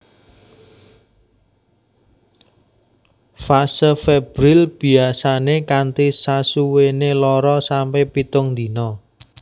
Fase febrile biyasane kanthi sasuwene loro sampe pitung dina